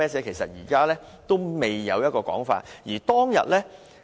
其實現時都未有一個確定說法。